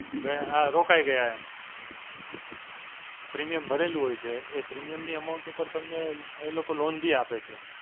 ને આ રોકાઈ ગયા એમ. premium ભરેલું હોય છે. એ premium ની Amount ઉપર તમને એ લોકો loan બી આપે છે.